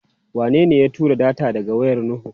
Wanene ya tura data daga wayar Nuhu?